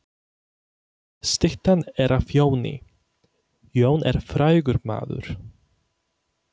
Styttan er af Jóni. Jón er frægur maður.